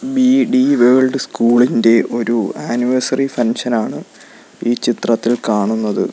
BD world സ്കൂളിൻ്റെ ഒരു anniversary ഫംഗ്ഷനാണ് ഈ ചിത്രത്തിൽ കാണുന്നത്.